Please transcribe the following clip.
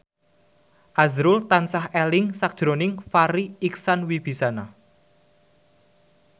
azrul tansah eling sakjroning Farri Icksan Wibisana